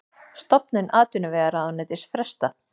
Stofnun atvinnuvegaráðuneytis frestað